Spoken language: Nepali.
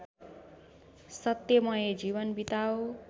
सत्यमय जीवन बिताओ